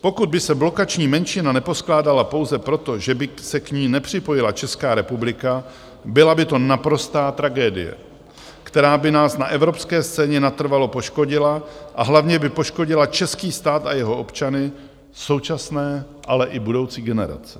Pokud by se blokační menšina neposkládala pouze proto, že by se k ní nepřipojila Česká republika, byla by to naprostá tragédie, která by nás na evropské scéně natrvalo poškodila a hlavně by poškodila český stát a jeho občany současné, ale i budoucí generace.